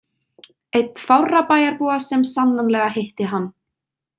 Einn fárra bæjarbúa sem sannanlega hitti hann.